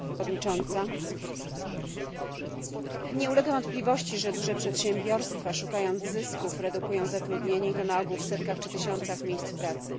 Pani Przewodnicząca! Nie ulega wątpliwości, że duże przedsiębiorstwa szukając zysku redukują zatrudnienie i to na ogół w setkach czy tysiącach miejsc pracy.